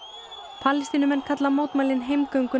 Palestínumenn kalla mótmælin